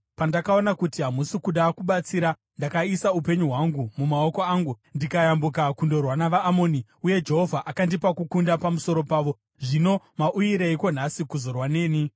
Pandakaona kuti hamusi kuda kubatsira, ndakaisa upenyu hwangu mumaoko angu ndikayambuka kundorwa navaAmoni, uye Jehovha akandipa kukunda pamusoro pavo. Zvino mauyireiko nhasi kuzorwa neni?”